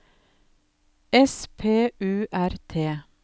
S P U R T